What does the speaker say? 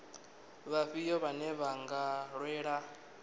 vhafhio vhane vha nga lwela